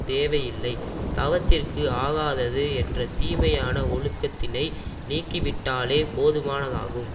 தேவையில்லை தவத்திற்கு ஆகாதது என்ற தீமையான ஒழுக்கத்தினை நீக்கி விட்டாலே போதுமானதாகும்